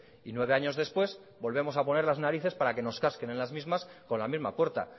y nueve años después volvemos a poner las narices para que nos casquen en las mismas con la misma puerta